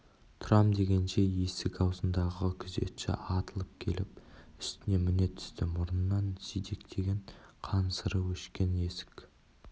тұрам дегенше есік аузындағы күзетші атылып келіп үстіне міне түсті мұрнынан сидектеген қан сыры өшкен есік